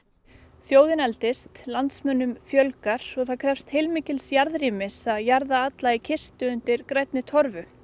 þjóðin eldist landsmönnum fjölgar og það krefst mikil jarðrýmis að jarða alla í kistu undir grænni torfu